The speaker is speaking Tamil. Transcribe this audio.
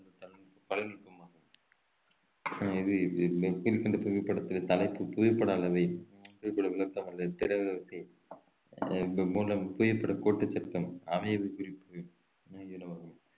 கலைநுட்பமாகும் இது கீழ்கண்ட புவிப்படத்தின் தலைப்பு புவிப்படம் அளவை புவிப்படவிளக்கம் அல்லது திறவு விசை அஹ் புவிப்படகோட்டுச் சட்டம் அமைவு குறிப்பு